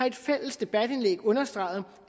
et fælles debatindlæg understreget